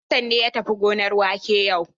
Hassan ne ya tafi gonar wake yau.